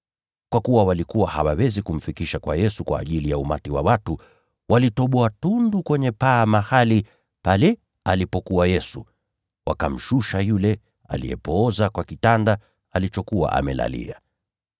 Kwa kuwa walikuwa hawawezi kumfikisha kwa Yesu kwa ajili ya umati wa watu, walitoboa tundu kwenye paa mahali pale alipokuwa Yesu, wakamshusha yule aliyepooza kwa kitanda alichokuwa amelalia.